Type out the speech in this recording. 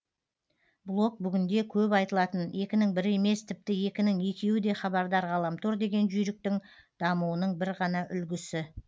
блог бүгінде көп айтылатын екінің бірі емес тіпті екінің екеуі де хабардар ғаламтор деген жүйріктің дамуының бір ғана үлгісі